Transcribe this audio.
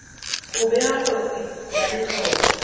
go bega kotsi ya letlole